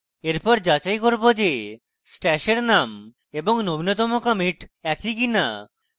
এরপর যাচাই করব যে stash এর name এবং নবীনতম commit একই কিনা